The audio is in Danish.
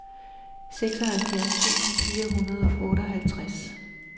seksoghalvfjerds tusind fire hundrede og otteoghalvtreds